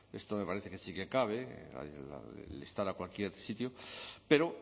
esto me parece que sí que cabe el instar a cualquier sitio pero